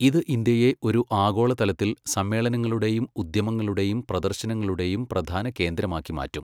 ഇത് ഇന്ത്യയെ ഒരു ആഗോളതലത്തിൽ സമ്മേളനങ്ങളുടെയും ഉദ്യമങ്ങളുടെയും പ്രദർശനങ്ങളുടെയും പ്രധാന കേന്ദ്രമാക്കി മാറ്റും.